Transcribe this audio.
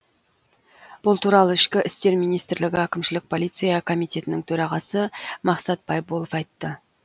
бұл туралы ішкі істер министрлігі әкімшілік полиция комитетінің төрағасы мақсат байболов айтты